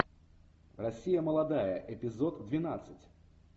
россия молодая эпизод двенадцать